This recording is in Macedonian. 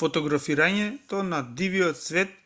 фотографирањето на дивиот свет